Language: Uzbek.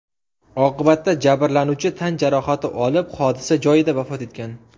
Oqibatda jabrlanuvchi tan jarohati olib, hodisa joyida vafot etgan.